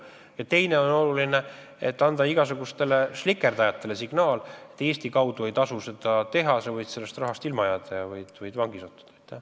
Ja teine oluline eesmärk on anda igasugustele slikerdajatele signaal, et Eesti kaudu ei tasu seda teha, sa võid rahast ilma jääda ja ka vangi sattuda.